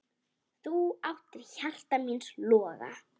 Þú áttir hjarta míns loga.